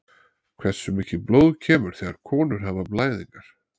hversu mikið blóð kemur þegar konur hafa blæðingar